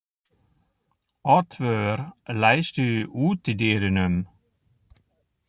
Oddvör, læstu útidyrunum.